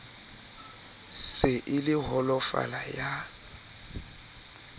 se e le holofala ya